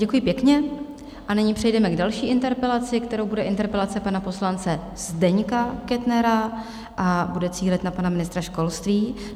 Děkuji pěkně a nyní přejdeme k další interpelaci, kterou bude interpelace pana poslance Zdeňka Kettnera a bude cílit na pana ministra školství.